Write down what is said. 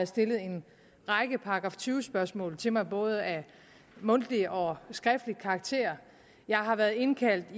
stillet en række § tyve spørgsmål til mig af både mundtlig og skriftlig karakter jeg har været indkaldt